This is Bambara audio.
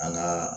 An ŋaa